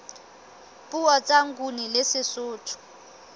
puo tsa nguni le sesotho